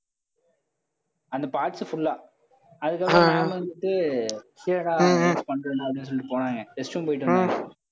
அந்த parts full ஆ அதுக்கப்புறம் ma'am வந்துட்டு அப்படின்னு சொல்லிட்டு போனாங்க restroom போயிட்டு வந்தாங்க